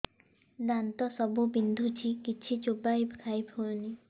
ଦାନ୍ତ ସବୁ ବିନ୍ଧୁଛି କିଛି ଚୋବେଇ ଖାଇ ହଉନି